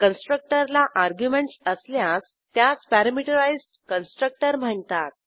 कन्स्ट्रक्टरला arguments असल्यास त्यास parameterised constructor म्हणतात